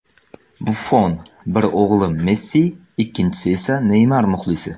Buffon: Bir o‘g‘lim Messi, ikkinchisi esa Neymar muxlisi.